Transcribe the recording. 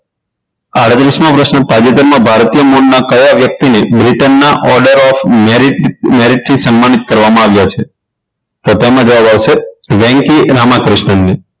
આડત્રીસ મો પ્રશ્ન તાજેતરમાં ભારતીય મૂળનાં કયા વ્યક્તિને બ્રિટનના order of merit merit થી સન્માનિત કરવામાં આવ્યા છે તો તેમાં જવાબ આવશે વેન્કી રામા કૃષ્ણનને